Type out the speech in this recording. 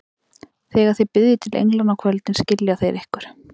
Þegar þið biðjið til englanna á kvöldin, skilja þeir ykkur.